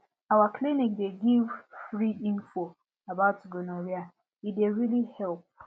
our clinic dey give free info about gonorrhea e dey really help